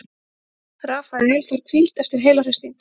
Rafael þarf hvíld eftir heilahristing